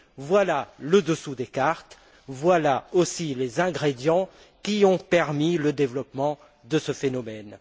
Voilà le dessous des cartes, voilà aussi les ingrédients qui ont permis le développement de ce phénomène.